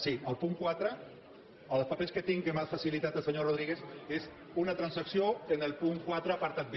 sí el punt quatre els papers que tinc que m’ha facilitat el senyor rodríguez és una transacció en el punt quatre apartat b